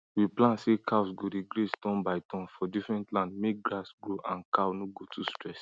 we plan say cows go dey graze turn by turn for different land make grass grow and cow no go too stress